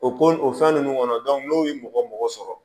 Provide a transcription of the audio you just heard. O ko o fɛn nunnu kɔnɔ n'o ye mɔgɔ mɔgɔ sɔrɔ